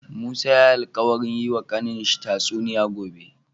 Musa yayi alkawarin yi wa kanin shi ta tsuniya gobe